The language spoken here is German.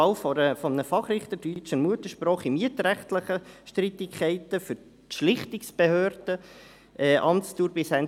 Wahl eines Fachrichters deutscher Muttersprache in mietrechtlichen Streitigkeiten für die Schlichtungsbehörden, Amtsdauer bis Ende 2022.